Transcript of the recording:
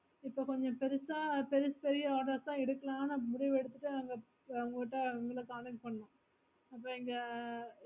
இப்போ கொஞ்ச பெருசா பெரிய பெரிய orders எடுக்கலாம்னு முடிவு எடுத்துட்டு நாங்க உங்க கிட்டே உங்கள contact பணிற்கோம் அப்ரோ இங்க